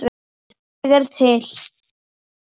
Ég er til